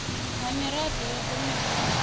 ha miraḓo ya komiti ya